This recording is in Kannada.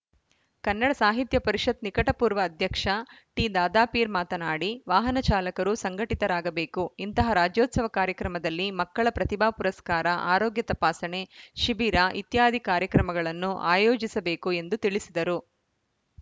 ಕನ್ನಡ ಸಾಹಿತ್ಯ ಪರಿಷತ್‌ ನಿಕಟಪೂರ್ವ ಅಧ್ಯಕ್ಷ ಟಿದಾದಾಪೀರ್‌ ಮಾತನಾಡಿ ವಾಹನ ಚಾಲಕರು ಸಂಘಟಿತರಾಗಬೇಕು ಇಂತಹ ರಾಜ್ಯೋತ್ಸವ ಕಾರ್ಯಕ್ರಮದಲ್ಲಿ ಮಕ್ಕಳ ಪ್ರತಿಭಾ ಪುರಸ್ಕಾರ ಆರೋಗ್ಯ ತಪಾಸಣೆ ಶಿಬಿರ ಇತ್ಯಾದಿ ಕಾರ್ಯಕ್ರಮಗಳನ್ನು ಆಯೋಜಿಸಬೇಕು ಎಂದು ತಿಳಿಸಿದರು